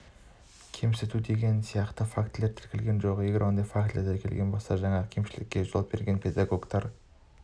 кемсіту деген сияқты фактілер тіркелген жоқ егер ондай фактілер тіркелетін болса жаңағы кемшілікке жол берген педагогтар